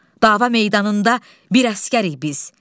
Dava meydanında bir əsgərik biz.